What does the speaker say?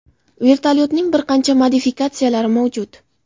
Vertolyotning bir qancha modifikatsiyalari mavjud.